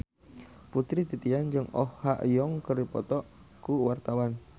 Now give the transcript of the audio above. Putri Titian jeung Oh Ha Young keur dipoto ku wartawan